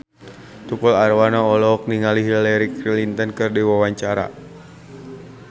Tukul Arwana olohok ningali Hillary Clinton keur diwawancara